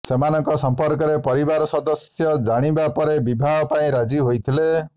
ସେମାନଙ୍କ ସମ୍ପର୍କରେ ପରିବାର ସଦସ୍ୟ ଜାଣିବା ପରେ ବିବାହ ପାଇଁ ରାଜି ହୋଇଥିଲେ